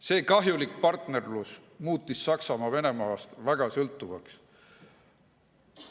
See kahjulik partnerlus muutis Saksamaa Venemaast sõltuvaks.